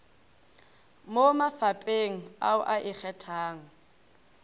mo mafapheng ao a ikgethang